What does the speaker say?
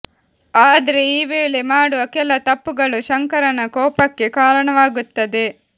ಆದ್ರೆ ಈ ವೇಳೆ ಮಾಡುವ ಕೆಲ ತಪ್ಪುಗಳು ಶಂಕರನ ಕೋಪಕ್ಕೆ ಕಾರಣವಾಗುತ್ತದೆ